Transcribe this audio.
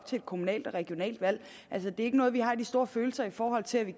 til et kommunalt og regionalt valg altså det er ikke noget vi har de store følelser i forhold til og vi